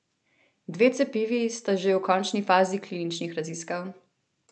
Dve cepivi sta že v končni fazi kliničnih raziskav.